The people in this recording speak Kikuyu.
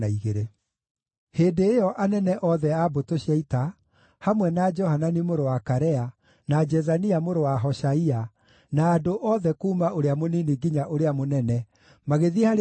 Hĩndĩ ĩyo anene othe a mbũtũ cia ita, hamwe na Johanani mũrũ wa Karea, na Jezania mũrũ wa Hoshaia, na andũ othe kuuma ũrĩa mũnini nginya ũrĩa mũnene, magĩthiĩ harĩ